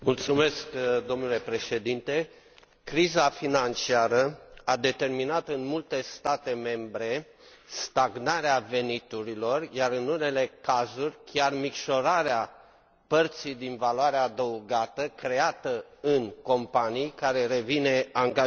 Domnule Președinte, criza financiară a determinat în multe state membre stagnarea veniturilor, iar în unele cazuri chiar micșorarea părții din valoarea adăugată creată în companii, care revine angajaților.